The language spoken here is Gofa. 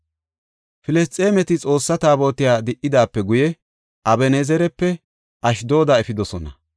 Filisxeemeti Xoossa Taabotiya di77idaape guye Aben7ezerape Ashdooda efidosona.